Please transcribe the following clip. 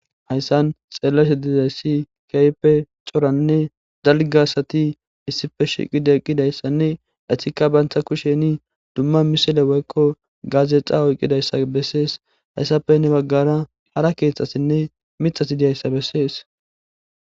Hayssan xeellashe dizay si keype coranne dalgasati issife shiqi deqqidayssanne etikka bantha kusheni dumma misile woykko gaazexa oyqqidayssa bessees hayssafe ne baggara hara keeththasinne mixati diyayssa bessees